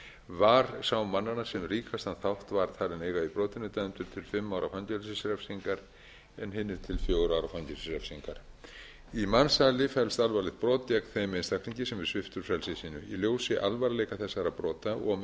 var sá mannanna sem ríkastan þátt var talinn eiga í brotinu dæmdur til fimm ára fangelsisrefsingar en hinir til fjögurra ára fangelsisrefsingar í mansali felst alvarlegt brot gegn þeim einstaklingi sem er sviptur frelsi sínu í ljósi alvarleika þessara brota og